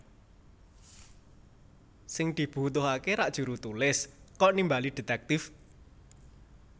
Sing dibutuhaké rak jurutulis kok nimbali detektip